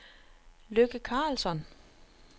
Lykke Carlsson